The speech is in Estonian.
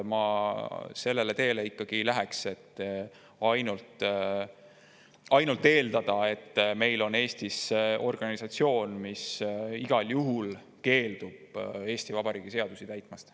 Ma sellele teele ei läheks, et eeldada, et Eestis on organisatsioon, mis igal juhul keeldub Eesti Vabariigi seadusi täitmast.